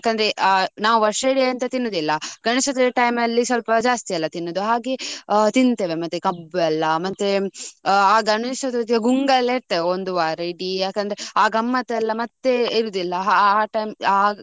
ಯಾಕಂದ್ರೆ ಆ ನಾವು ವರ್ಷ ಇಡೀ ಎಂತ ತಿನ್ನುದಿಲ್ಲ ಗಣೇಶ ಚತುರ್ಥಿ time ಅಲ್ಲಿ ಸ್ವಲ್ಪ ಜಾಸ್ತಿ ಅಲ್ಲ ತಿನ್ನುದು. ಹಾಗೆ ತಿನ್ನುತ್ತೇವೆ ಮತ್ತೆ ಕಬ್ಬು ಎಲ್ಲಾ ಮತ್ತೆ ಆ ಗಣೇಶ್ ಚತುರ್ಥಿ ಗುಂಗಲ್ಲೇ ಇರ್ತೇವೆ ಒಂದು ವಾರ ಇಡೀ ಯಾಕಂದ್ರೆ ಆ ಗಮ್ಮತ್ತ ಎಲ್ಲಾ ಮತ್ತೆಲ್ಲಾ ಇರುದಿಲ್ಲ. ಆ time ಆ.